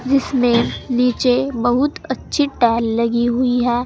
जिसमें नीचे बहुत अच्छी टाइल लगी हुई है।